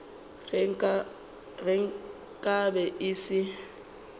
ge nka be e se